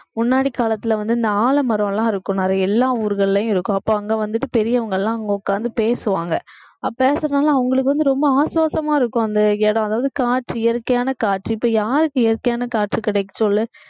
முன்னாடி காலத்துல வந்து இந்த ஆலமரம் எல்லாம் இருக்கும் நிறைய எல்லா ஊர்கள்லயும் இருக்கும் அப்ப அங்க வந்துட்டு பெரியவங்க எல்லாம் அங்க உட்கார்ந்து பேசுவாங்க பேசுறதுனால அவங்களுக்கு வந்து ரொம்ப ஆஸ்வாசமா இருக்கும் அந்த அதாவது காற்று இயற்கையான காற்று இப்ப யாருக்கு இயற்கையான காற்று கிடைக்க சொல்லு